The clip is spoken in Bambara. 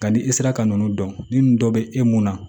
Nka ni i sera ka ninnu dɔn ni dɔ bɛ e mun na